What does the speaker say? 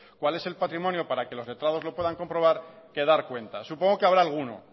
cuál es el patrimonio para que los letrados lo puedan comprobar que dar cuenta supongo que habrá alguno